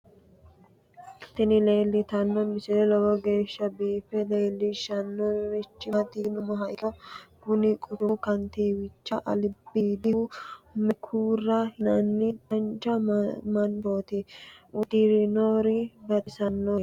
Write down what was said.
tini leeltanno misile lowo geeshsha biiffe leeellishshannorichi maati yinummoha ikkiro kuni quchumu kantiiwichi albiidihu mekura yinanni dancha manchooti uddirinori baxisannoreeti